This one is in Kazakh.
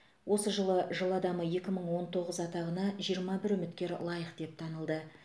осы жылы жыл адамы екі мың он тоғыз атағына жиырма бір үміткер лайық деп танылды